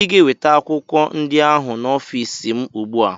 Ị ga-eweta akwụkwọ ndị ahụ n'ọfịs m ugbu a!